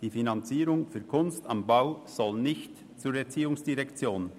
Die Finanzierung für «Kunst am Bau» soll nicht zur ERZ wechseln.